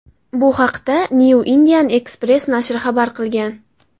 Bu haqda Newindianexpress nashri xabar qilgan .